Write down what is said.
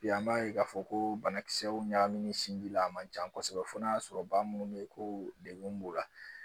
Bi an b'a ye k'a fɔ ko banakisɛw ɲagaminen sinji la a man ca kosɛbɛ fo n'a sɔrɔ ba minnu bɛ yen ko degun b'u la